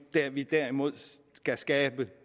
vi derimod skal skabe